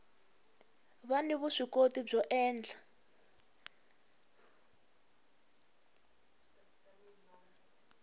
va ni vuswikoti byo endla